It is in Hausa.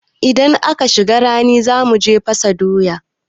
Idan an shiga rani za mu je fasa doya.